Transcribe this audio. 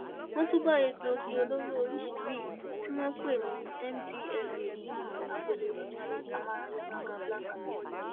wọn tún bá egbòogi olóró oríṣìí mìín tí wọn pè ní mdma nínú agolo ọtí amóráyàgàgá black camera